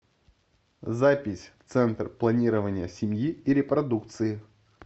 запись центр планирования семьи и репродукции